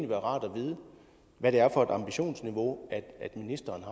være rart at vide hvad det er for et ambitionsniveau ministeren